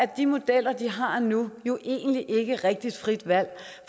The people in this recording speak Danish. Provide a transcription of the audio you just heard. de modeller de har nu jo egentlig ikke rigtigt frit valg